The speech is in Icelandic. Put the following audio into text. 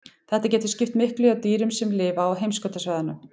Þetta getur skipt miklu hjá dýrum sem lifa á heimskautasvæðunum.